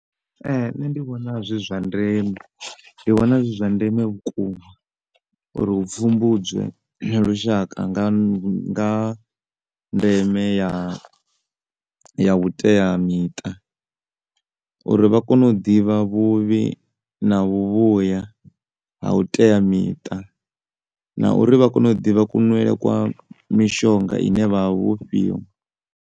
Nṋe ndi vhona zwi zwa ndeme, ndi vhona zwi zwa ndeme vhukuma uri hu pfhumbudzwe lushaka nga ha nga ha ndeme ya, ya vhuteamiṱa uri vha kone u ḓivha vhuvhi na vhuvhuya ha u teamiṱa na uri vha kone u ḓivha kunwele kwa mishonga ine vha vha vho fhiwa.